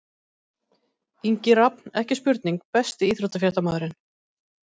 Ingi Rafn, ekki spurning Besti íþróttafréttamaðurinn?